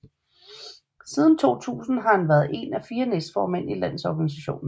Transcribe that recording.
Siden 2000 har han været en af fire næstformænd i landsorganisationen